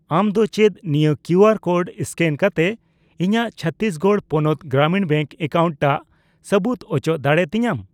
ᱟᱢ ᱫᱚ ᱪᱮᱫ ᱱᱤᱭᱟᱹ ᱠᱤᱭᱩᱟᱨ ᱠᱳᱰ ᱮᱥᱠᱮᱱ ᱠᱟᱛᱮ ᱤᱧᱟᱜ ᱪᱷᱚᱛᱛᱤᱥᱜᱚᱲ ᱯᱚᱱᱚᱛ ᱜᱨᱟᱢᱤᱱ ᱵᱮᱝᱠ ᱮᱠᱟᱣᱩᱱᱴ ᱴᱟᱜ ᱥᱟᱹᱵᱩᱫ ᱩᱪᱚ ᱫᱟᱲᱮᱭᱟᱛᱤᱧᱟᱹ ?